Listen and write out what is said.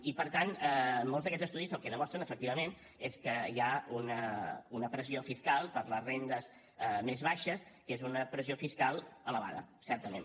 i per tant molts d’aquests estudis el que demostren efectivament és que hi ha una pressió fiscal per a les rendes més baixes que és una pressió fiscal elevada certament